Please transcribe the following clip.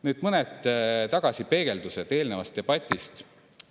Nüüd mõned tagasipeegeldused eelnenud debatist.